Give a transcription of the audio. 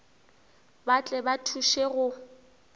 ba tle ba thuše go